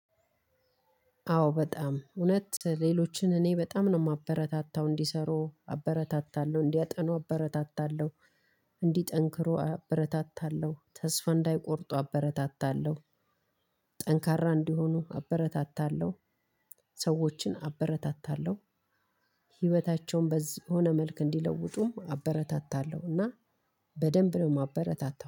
አዎ በጣም እውነት ሌሎችን እኔ በጣም ነው የማበረታታው እንዲሰሩ አበረታታለሁ እንዲያጠኑ አበረታታለሁ። እንዲጠንክሩ አበረታታለሁ ተስፋ እንዳይቆርጡ አበረታታለሁ። ጠንካራ እንዲሆኑ አበረታታለሁ ሰዎችን አበረታታለሁ። ህይወታቸውን በዚህ ሆነ መልክ እንዲለውጡም አበረታታለሁና በደንብ ነው የማበረታታው።